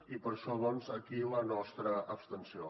i per això aquí la nostra abstenció